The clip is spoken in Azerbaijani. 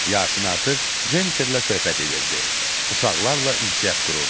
Yasin artıq Jenniferlə söhbət edirdi, uşaqlarla ünsiyyət qururdu.